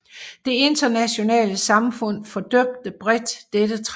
Det internationale samfund fordømte bredt dette træk